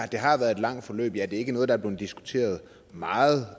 det har været et langt forløb ja det er ikke noget der er blevet diskuteret meget